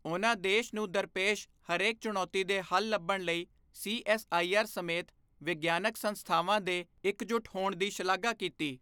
ਉਨ੍ਹਾਂ ਦੇਸ਼ ਨੂੰ ਦਰਪੇਸ਼ ਹਰੇਕ ਚੁਣੌਤੀ ਦੇ ਹੱਲ ਲੱਭਣ ਲਈ ਸੀਐੱਸਆਈਆਰ ਸਮੇਤ ਵਿਗਿਆਨਕ ਸੰਸਥਾਨਾਂ ਦੇ ਇੱਕਜੁਟ ਹੋਣ ਦੀ ਸ਼ਲਾਘਾ ਕੀਤੀ।